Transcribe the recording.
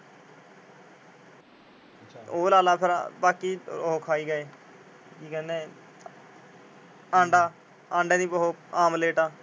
ਉਹ ਲਾ ਫੇਰ ਬਾਕੀ ਉਹ ਖਾਈ ਗੇ, ਕੀ ਕਹਿੰਦੇ ਅੰਡਾ। ਅੰਡੇ ਦੀ ਉਹ ਆਮਲੇਟ